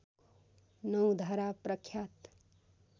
नौ धारा प्रख्यात